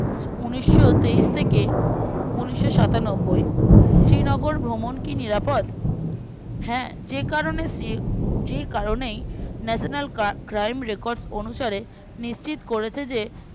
উনিসতেইশ থেকে উনিশোসাতানব্বই শ্রীনগর ভ্রমণ কি নিরাপদ হ্যাঁ যেকারণে যেকারণেই national cry crime record অনুসারে নিশ্চিত করেছে যে